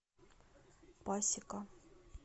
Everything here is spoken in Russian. пасека